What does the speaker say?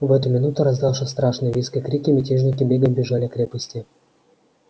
в эту минуту раздался страшный визг и крики мятежники бегом бежали к крепости